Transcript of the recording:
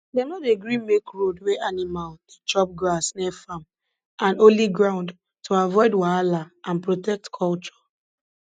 dem no dey gree make road wey animal dey chop grass near farm and holy ground to avoid wahala and protect culture